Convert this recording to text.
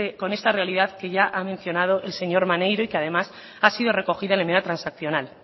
con esta realidad que ya ha mencionado el señor maneiro y que además ha sido recogida en la enmienda transaccional